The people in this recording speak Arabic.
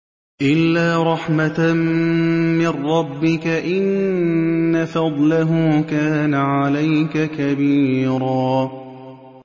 إِلَّا رَحْمَةً مِّن رَّبِّكَ ۚ إِنَّ فَضْلَهُ كَانَ عَلَيْكَ كَبِيرًا